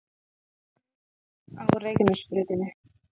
Eins og á Reykjanesbrautinni